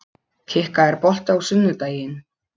Kikka, er bolti á sunnudaginn?